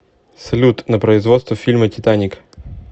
салют на производство фильма титаник